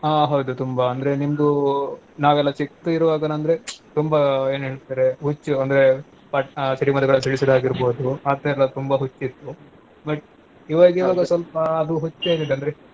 ಹಾ ಹೌದು ತುಂಬಾ ಅಂದ್ರೇ ನಿಮ್ದೂ ನಾವೆಲ್ಲಾ ಚಿಕ್ದು ಇರುವಾಗನಂದ್ರೆ ತುಂಬಾ ಏನೇಳ್ತಾರೆ ಹುಚ್ಚು ಅಂದ್ರೆ ಪ~ ಆ ಸಿಡಿಮದ್ದುಗಳನ್ ಸಿಡಿಸೋದ್ ಆಗಿರ್ಬೋದು ಆತರಾ ತುಂಬಾ ಹುಚ್ಚಿತ್ತು but ಇವಾಗಿವಾಗ ಸ್ವಲ್ಪ ಅದು ಹುಚ್ಚೆನಿದೆ ಅಂದ್ರೆ.